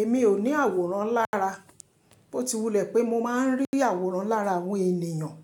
Èmi ò ní àwòrán lára, bó ti wulẹ̀ pé mo máa ń rí àwòrán lára àwọn ènìyàn.